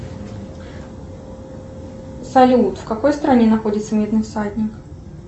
салют в какой стране находится медный всадник